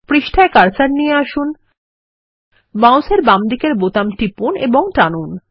পৃষ্ঠায় কার্সার নিয়ে আসুন মাউসের বামদিকের বোতাম টিপুন এবং টানুন